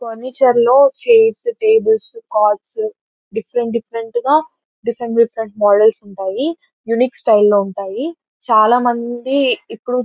పాండిచేరి లో chairs tables cars different different గ different types of models ఉంటాయి యూనిక్యూ స్టైల్ లో ఉంటాయి చాల మంది ఇప్పుడు --